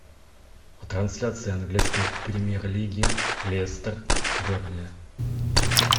трансляция английской премьер лиги лестер бернли